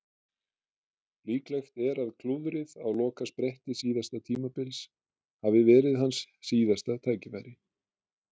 Líklegt er að klúðrið á lokaspretti síðasta tímabils hafi verið hans síðasta tækifæri.